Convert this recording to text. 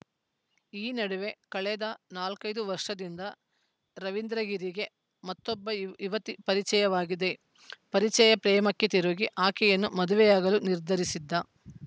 ಈ ನಡುವೆ ಕಳೆದ ನಾಲ್ಕೈದು ವರ್ಷದಿಂದ ರವಿಂದ್ರಗಿರಿಗೆ ಮತ್ತೊಬ್ಬ ಯುವತಿ ಪರಿಚಯವಾಗಿದೆ ಪರಿಚಯ ಪ್ರೇಮಕ್ಕೆ ತಿರುಗಿ ಆಕೆಯನ್ನು ಮದುವೆಯಾಗಲು ನಿರ್ಧರಿಸಿದ್ದ